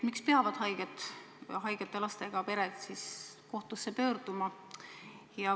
Miks peavad haigete lastega pered kohtusse pöörduma?